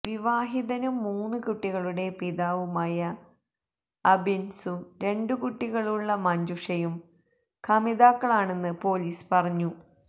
വിവാഹിതനും മൂന്നു കുട്ടികളുടെ പിതാവുമായ അബിന്സും രണ്ടു കുട്ടികളുള്ള മഞ്ജുഷയും കമിതാക്കളാണെന്ന് പോലീസ് പറഞ്ഞു